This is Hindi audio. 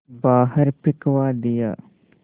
बाहर फिंकवा दिया